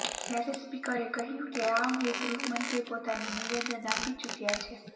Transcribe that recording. જયારે સ્પીકરે કહ્યું કે આ અંગે ગૃહમંત્રી પોતાનું નિવેદન આપી ચુક્યા છે